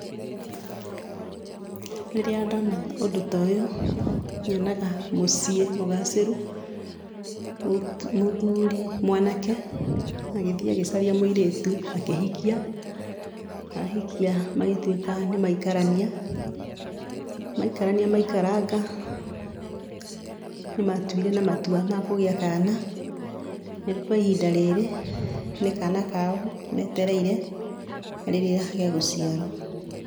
Rĩrĩa ndona ũndũ toyũ nyonaga mũciĩ mũgacĩru, mũthuri, mwanake agĩthiĩ agĩcaria mũirĩtu akĩhikia, ahikia magĩtuĩka nĩmaikarania, maikarania maikaranga nĩmatuire na matua ma kũgĩa kana, na rĩu kwa ihinda rĩrĩ nĩ kana kao metereire rĩrĩa gegũciarwo.